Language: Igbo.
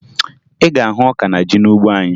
Ị ga-ahụ ọka na ji n'ugbo anyị